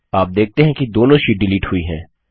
आप देखते हैं कि दोनों शीट डिलीट हुई हैं